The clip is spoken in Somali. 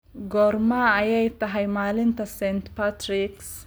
Goorma ayay tahay maalinta Saint Patrick's